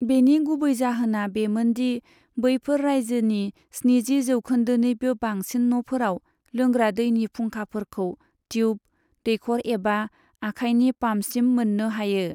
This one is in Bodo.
बेनि गुबै जाहोना बेमोन दि बैफोर रायजोनि स्निजि जौखोन्दोनिबो बांसिन न'फोराव लोंग्रा दैनि फुंखाफोरखौ ट्युब, दैखर एबा आखाइनि पाम्पसिम मोननो हायो।